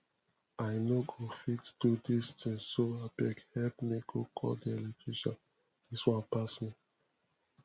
i no go fit do dis thing so abeg help me go call the electrician dis one pass me